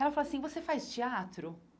Ela falou assim, você faz teatro?